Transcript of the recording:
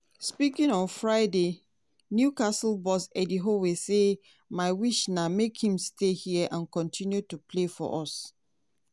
speaking on friday newcastle boss eddie howe say: "my wish na make im stay hia and kotinu to play for us.